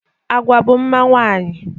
Agwa bụ mma nwaanyị.